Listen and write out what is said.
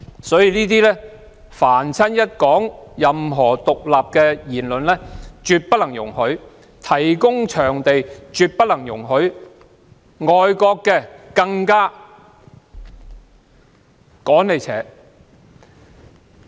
所以，任何有關獨立的言論都不能容許，提供討論場地亦不能容許，外國機構也要趕出去。